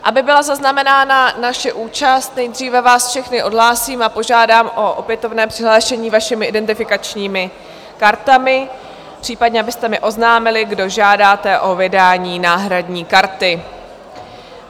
Aby byla zaznamenána naše účast, nejdříve vás všechny odhlásím a požádám o opětovné přihlášení vašimi identifikačními kartami, případně abyste mi oznámili, kdo žádáte o vydání náhradní karty.